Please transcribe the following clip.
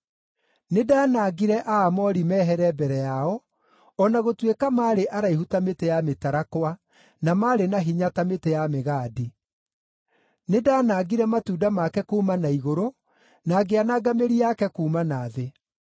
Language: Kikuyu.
“Nĩndanangire Aamori mehere mbere yao, o na gũtuĩka maarĩ araihu ta mĩtĩ ya mĩtarakwa, na marĩ na hinya ta mĩtĩ ya mĩgandi. Nĩndanangire matunda make kuuma na igũrũ, na ngĩananga mĩri yake kuuma na thĩ.